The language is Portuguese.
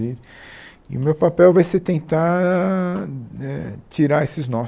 E o meu papel vai ser tentar eh tirar esses nós.